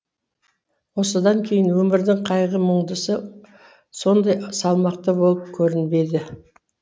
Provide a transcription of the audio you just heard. осыдан кейін өмірдің қайғы мұңдысы сондай салмақты болып көрінбейді